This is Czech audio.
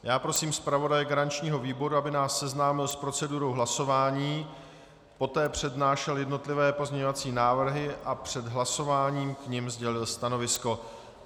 Já prosím zpravodaje garančního výboru, aby nás seznámil s procedurou hlasování, poté přednášel jednotlivé pozměňovací návrhy a před hlasováním k nim sdělil stanovisko.